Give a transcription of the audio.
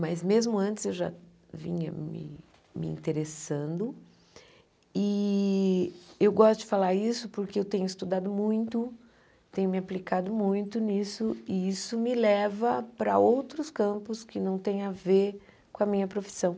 Mas, mesmo antes, eu já vinha me interessando e eu gosto de falar isso porque eu tenho estudado muito, tenho me aplicado muito nisso e isso me leva para outros campos que não têm a ver com a minha profissão.